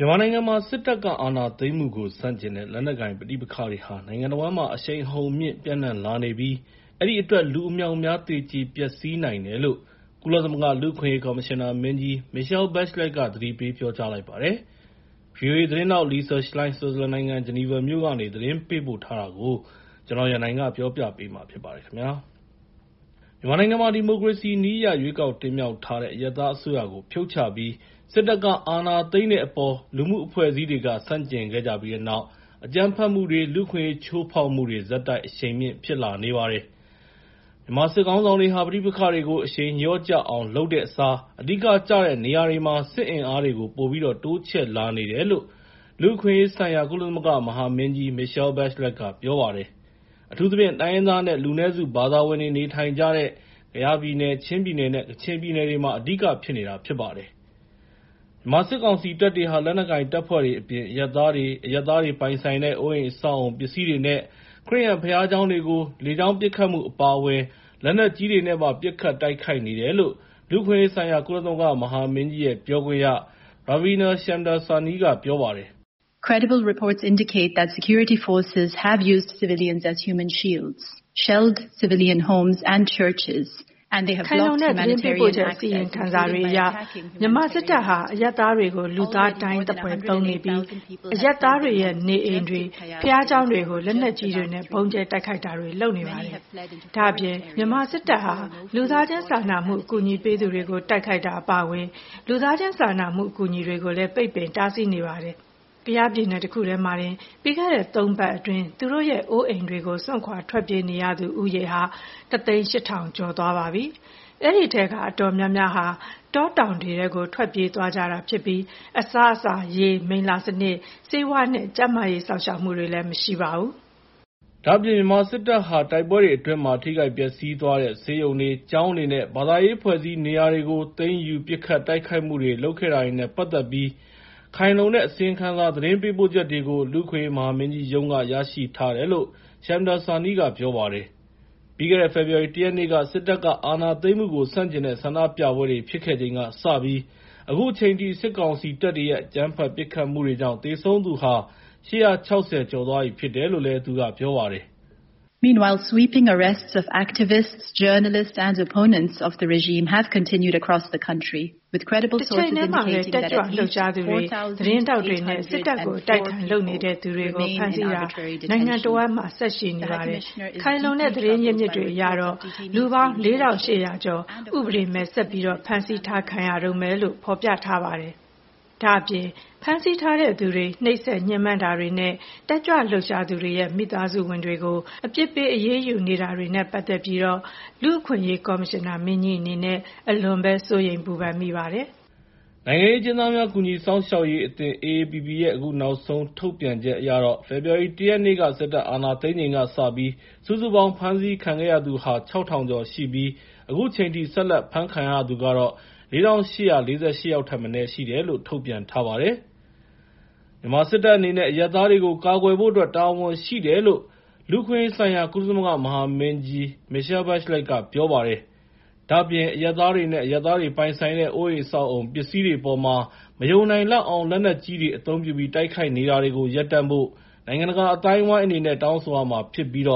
မြန်မာနိုင်ငံမှာ စစ်တပ်က အာဏာသိမ်းမှုကို ဆန့်ကျင်တဲ့ လက်နက်ကိုင် ပဋိပက္ခတွေဟာ နိုင်ငံတဝန်းမှာ အရှိန်အဟုန်မြှင့် ပျံ့နှံ့လာနေပြီး အဲဒီအတွက် လူအမြောက်အမြား သေကျေပျက်စီးနိုင်တယ်လို့ ကုလသမဂ္ဂ လူ့အခွင့်အရေး ကော်မရှင်နာမင်းကြီး Michelle Bachelet က သတိပေး ပြောလိုက်ပါတယ်။ ဗွီအိုအေ သတင်းထောက် Lisa Schlein ဆွစ်ဇာလန်နိုင်ငံ ဂျီနီဗာမြို့ကနေ သတင်းပေးပို့ထားတာကို ကိုရန်နိုင်က တင်ပြပေးထားပါတယ်။ မြန်မာနိုင်ငံမှာ ဒီမိုကရေစီနည်းအရ ရွေးကောက်တင်မြှောက်လိုက်တဲ့ အရပ်သားအစိုးရကို ဖြုတ်ချပြီး စစ်တပ်က အာဏာသိမ်းတဲ့အပေါ် လူမှုအဖွဲ့အစည်းတွေက ဆန့်ကျင်ခဲ့ကြတဲ့နောက် အကြမ်းဖက်မှုတွေ လူ့အခွင့်အရေး ချိုးဖောက်မှုတွေ ဆက်တိုက် အရှိန်မြင့် ဖြစ်လာနေပါတယ်။ မြန်မာစစ်ခေါင်းဆောင်တွေဟာ ပဋိပက္ခတွေကို အရှိန်လျော့ကျအောင် လုပ်တဲ့အစား အဓိကကျတဲ့ နေရာတွေမှာ စစ်အင်အားတွေကို ပိုပြီးတော့ တိုးချဲ့လာနေတယ်လို့ လူ့အခွင့်အရေးဆိုင်ရာ ကုလသမဂ္ဂ မဟာမင်းကြီး Michelle Bachelet က ပြောပါတယ်။ အထူးသဖြင့် တိုင်းရင်းသားနဲ့ လူနည်းစု ဘာသာဝင်တွေ နေထိုင်ကြတဲ့ ကယားပြည်နယ်၊ ချင်းပြည်နယ်နဲ့ ကချင်ပြည်နယ်တွေမှာ အဓိကဖြစ်နေတာ ဖြစ်ပါတယ်။ မြန်မာစစ်ကောင်စီတပ်တွေဟာ လက်နက်ကိုင်တပ်ဖွဲ့တွေအပြင် အရပ်သားတွေ၊ အရပ်သားတွေ ပိုင်ဆိုင်တဲ့ အိုးအိမ်အဆောက်အအုံ ပစ္စည်းတွေနဲ့ ခရစ်ယာန်ဘုရားကျောင်းတွေကို လေကြောင်းပစ်ခတ်မှု အပါအဝင် လက်နက်ကြီးတွေနဲ့ပါ ပစ်ခတ်တိုက်ခိုက်နေတယ်လို့ လူ့အခွင့်အရေးဆိုင်ရာ ကုလသမဂ္ဂ မဟာမင်းကြီးရဲ့ ပြောခွင့်ရ Ravia Shamdasani က ပြောလိုက်ပါတယ်။ “ခိုင်လုံတဲ့ သတင်းပေးပို့ချက် အစီရင်ခံစာတွေအရ မြန်မာစစ်တပ်ဟာ အရပ်သားတွေကို လူသားဒိုင်းသဖွယ် အသုံးပြုနေပြီး အရပ်သားတွေရဲ့ နေအိမ်တွေ၊ ဘုရားကျောင်းတွေကို လက်နက်ကြီးတွေနဲ့ ဗုံးကြဲတိုက်ခိုက်တာတွေ လုပ်နေပါတယ်။ ဒါ့အပြင် မြန်မာစစ်တပ်ဟာ လူသားချင်းစာနာမှု အကူအညီပေးသူတွေကို တိုက်ခိုက်တာတွေ အပါအဝင် လူသားချင်းစာနာမှု အကူအညီတွေကို ပိတ်ပင်တားဆီး နေပါတယ်။ ကယားပြည်နယ် တခုတည်းမှာတင် ပြီးခဲ့တဲ့ ၃ ပတ်အတွင်း သူတို့ရဲ့ အိုးအိမ်တွေကို စွန့်ခွာထွက်ပြေးနေသူဦးရေဟာ ၁၀၈,၀၀၀ ကျော်သွားပြီ ဖြစ်ပါတယ်။ အဲဒီထဲက အတော်များများက တောတောင်တွေထဲကို ထွက်ပြေးသွားကြတာဖြစ်ပြီး အစားအစာ၊ ရေ၊ မိလ္လာစနစ်၊ ဆေးဝါးနဲ့ ကျန်းမာရေးစောင့်ရှောက်မှုတွေ မရှိပါဘူး။” ဒါ့အပြင် မြန်မာစစ်တပ်ဟာ တိုက်ပွဲတွေအတွင်းမှာ ထိခိုက်ပျက်စီးသွားတဲ့ ဆေးရုံတွေ၊ ကျောင်းတွေနဲ့ ဘာသာရေးအဖွဲ့အစည်း နေရာတွေကို သိမ်းယူ ပစ်ခတ်တိုက်ခိုက်မှုတွေ လုပ်ခဲ့တာတွေနဲ့ ပတ်သက်ပြီး ခိုင်လုံတဲ့ အစီရင်ခံစာ သတင်းပေးပို့ချက်တွေကို လူ့အခွင့်အရေး မဟာမင်းကြီးရုံးက ရရှိထားတယ်လို့ Shamdasani က ပြောပါတယ်။ ပြီးခဲ့တဲ့ ဖေဖော်ဝါရီ ၁ ရက်နေ့က စစ်တပ်က အာဏာသိမ်းမှုကို ဆန့်ကျင်တဲ့ ဆန္ဒပြပွဲတွေ ဖြစ်ခဲ့ချိန်ကစပြီး အခုချိန်အထိ စစ်ကောင်စီတပ်တွေရဲ့ အကြမ်းဖက် ပစ်ခတ်မှုတွေကြောင့် သေဆုံးသူဟာ ၈၆၀ ကျော်သွားပြီ ဖြစ်တယ်လို့ သူကပြောပါတယ်။ “တချိန်တည်းမှာပဲ တက်ကြွလှုပ်ရှားသူတွေ၊ သတင်းထောက်တွေနဲ့ စစ်တပ်ကို အတိုက်အခံ လုပ်သူတွေကို ဖမ်းဆီးတာတွေ နိုင်ငံတဝန်းမှာ ဆက်လုပ်နေပြီး ခိုင်လုံတဲ့ သတင်းအရင်းအမြစ်တွေ အရတော့ လူပေါင်း ၄,၈၀၀ ကျော် ဥပဒေမဲ့ ဆက်ပြီးတော့ ဖမ်းဆီးခံထားရတုန်းပဲ ဖြစ်တယ်လို့ ဖော်ပြနေပါတယ်။ ဒါ့အပြင် ဖမ်းဆီးထားတဲ့သူတွေ ညှဉ်းပန်းနှိပ်စက်တာတွေနဲ့ တက်ကြွလှုပ်ရှားသူတွေရဲ့ မိသားစုဝင်တွေကို အပြစ်ပေး အရေးယူတာတွေနဲ့ ပတ်သက်ပြီးတော့ လူ့အခွင့်အရေး ကော်မရှင်နာမင်းကြီး အနေနဲ့ အလွန်ပဲ စိုးရိမ်ပူပန်မိပါတယ်။” နိုင်ငံရေးအကျဉ်းသားများ ကူညီစောင့်ရှောက်ရေးအသင်း (AAPP) ရဲ့ အခုနောက်ဆုံး ထုတ်ပြန်ချက်အရတော့ ဖေဖော်ဝါရီ ၁ ရက်နေ့ စစ်တပ်အာဏာသိမ်းချိန်ကစပြီး စုစုပေါင်း ဖမ်းဆီးခံရသူဟာ ၆,၀၀၀ ကျော်ရှိပြီး အခုချိန်ထိ ဆက်လက်ဖမ်းခံရသူကတော့ ၄,၈၄၈ ယောက်ထက်မနည်း ရှိတယ်လို့ ထုတ်ပြန်ထားပါတယ်။ မြန်မာစစ်တပ်အနေနဲ့ အရပ်သားတွေကို ကာကွယ်ဖို့အတွက် တာဝန်ရှိတယ်လို့ လူ့အခွင့်အရေးဆိုင်ရာ ကုလမဟာမင်းကြီး Michelle Bachelet က ပြောလိုက်ပါတယ်။ ဒါ့အပြင် အရပ်သားတွေနဲ့ အရပ်သားတွေပိုင်ဆိုင်တဲ့ အိုးအိမ် အဆောက်အအုံ ပစ္စည်းတွေအပေါ်မှာ မယုံနိုင်လောက်အောင် လက်နက်ကြီးတွေ အသုံးပြုပြီး တိုက်ခိုက်နေတာတွေကို ရပ်တန့်ဖို့ နိုင်ငံတကာ အသိုင်းအဝိုင်း အနေနဲ့ တောင်းဆိုရမှာဖြစ်ပြီး